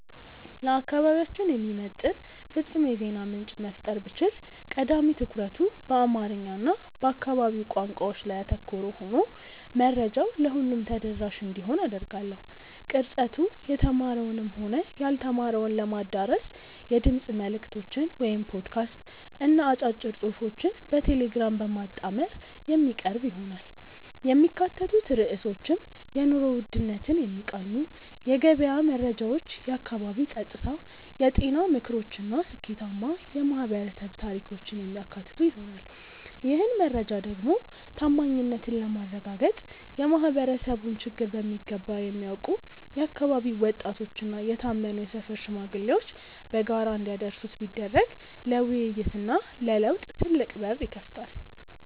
ለአካባቢያችን የሚመጥን ፍጹም የዜና ምንጭ መፍጠር ብችል፣ ቀዳሚ ትኩረቱ በአማርኛ እና በአካባቢው ቋንቋዎች ላይ ያተኮረ ሆኖ መረጃው ለሁሉም ተደራሽ እንዲሆን አደርጋለሁ። ቅርጸቱ የተማረውንም ሆነ ያልተማረውን ለማዳረስ የድምፅ መልዕክቶችን (ፖድካስት) እና አጫጭር ጽሑፎችን በቴሌግራም በማጣመር የሚቀርብ ይሆናል። የሚካተቱት ርዕሶችም የኑሮ ውድነትን የሚቃኙ የገበያ መረጃዎች፣ የአካባቢ ጸጥታ፣ የጤና ምክሮች እና ስኬታማ የማኅበረሰብ ታሪኮችን የሚያካትቱ ይሆናል። ይህን መረጃ ደግሞ ታማኝነትን ለማረጋገጥ የማኅበረሰቡን ችግር በሚገባ የሚያውቁ የአካባቢው ወጣቶችና የታመኑ የሰፈር ሽማግሌዎች በጋራ እንዲያደርሱት ቢደረግ ለውይይትና ለለውጥ ትልቅ በር ይከፍታል።